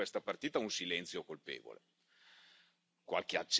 Nell'ambito dell'agroalimentare vediamo su questa partita un silenzio colpevole.